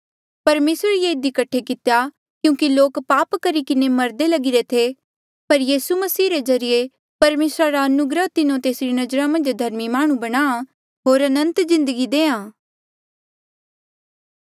परमेसरे ये इधी कठे कितेया क्यूंकि लोक पाप करी किन्हें मरदे लगिरे थे पर यीसू मसीह रे ज्रीए परमेसरा रा अनुग्रह तिन्हो तेसरी नजरा मन्झ धर्मी माह्णुं बणा होर अनंत जिन्दगी देआ